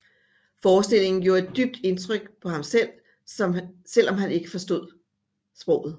Forestillingen gjorde et dybt indtryk på ham selv om han ikke forstod sproget